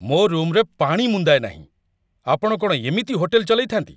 ମୋ ରୁମ୍‌ରେ ପାଣି ମୁନ୍ଦାଏ ନାହିଁ! ଆପଣ କ'ଣ ଏମିତି ହୋଟେଲ ଚଲେଇଥାନ୍ତି?